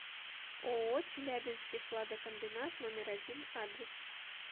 ооо челябинский хладокомбинат номер один адрес